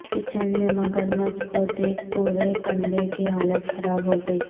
kitchen میں مگر مچھ کو دیکھ پورے کنبے کی حالت خراب ہوگئی